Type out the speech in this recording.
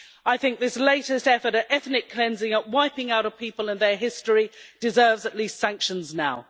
I think this latest effort at ethnic cleansing, of wiping out a people and their history, deserves at least sanctions now.